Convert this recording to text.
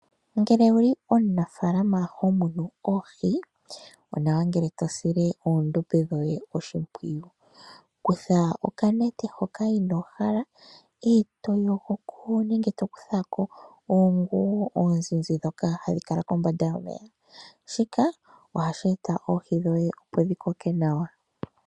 Ngele owu li omunaafala ho munu oohi, onawa ngele to sile oondombe dhoye oshimpwiyu. Kutha okanete hoka inoo hala e to yogo ko nenge to kutha ko onguwi, ano oshinima shoka oshizizi hashi kala kombanda yomeya. Shika ohashi eta oohi dhoye, opo dhi koke nawa.